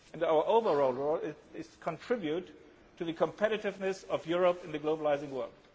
Our overall role is to contribute to the competitiveness of Europe in the globalised world.